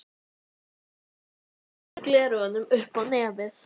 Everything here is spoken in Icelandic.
Þórhildur Þorkelsdóttir: Hvaða fjölskyldumeðlimir eru þetta sem að hún saknar?